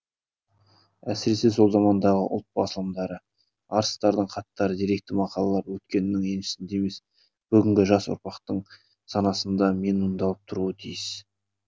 әсіресе сол замандағы ұлт басылымдары арыстардың хаттары деректі мақалалар өткеннің еншісінде емес бүгінгі жас ұрпақтың санасында менмұндалап тұруы тиіс